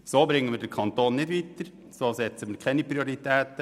So bringen wir den Kanton nicht weiter, so setzen wir keine Prioritäten.